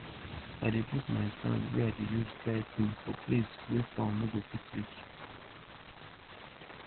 i de put my stand wey i de use dry thing for place wey fowl no go fit reach